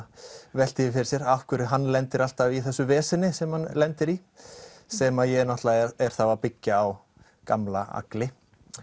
veltir fyrir sér af hverju hann lendir alltaf í þessu veseni sem hann lendir í sem ég er þá að byggja á gamla Agli